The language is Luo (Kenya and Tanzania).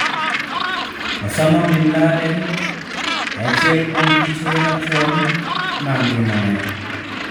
Osama bin Laden, e achiel kuom piche machon mag ngimane.